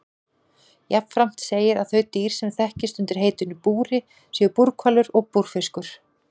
Jafnframt segir að þau dýr sem þekkist undir heitinu búri séu búrhvalur og búrfiskur.